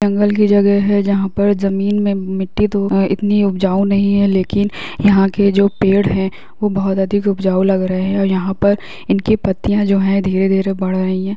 जंगल की जगह है जहाँ पर जमीन में मिट्टी तो है इतनी उपजाऊ नहीं है लेकिन यहाँ के जो पेड़ है वो बहुत अधिक उपजाऊ लग रहे है और यहाँ पर इनकी पत्तियां जो है धीरे-धीरे बढ़ रही है।